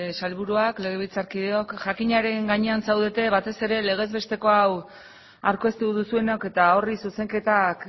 sailburuak legebiltzarkideok jakinaren gainean zaudete batez ere legez besteko hau aurkeztu duzuenok eta horri zuzenketak